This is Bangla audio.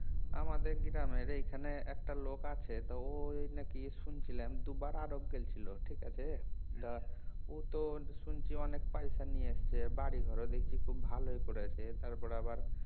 আমাদের গ্রামের এইখানে একটা লোক আছে তো ও নাকি শুনছিলাম দুবার আরব গেছিল ঠিক আছে তা ও তো শুনছি অনেক পয়সা নিয়ে এসেছে বাড়ি ঘরও দেখছি খুব ভালোই করেছে তারপরে আবার